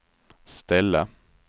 ställa